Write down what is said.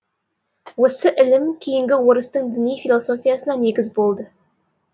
осы ілім кейінгі орыстың діни философиясына негіз болды